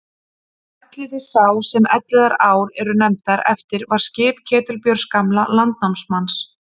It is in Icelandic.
Elliði sá sem Elliðaár eru nefndar eftir var skip Ketilbjörns gamla landnámsmanns.